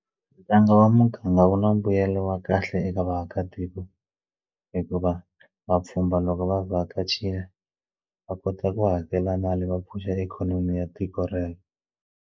Ntlangu wa muganga wu na mbuyelo wa kahle eka vaakatiko hikuva vapfhumba loko va vhakacherile va kota ku hakela mali va pfuxa ikhonomi ya tiko rero.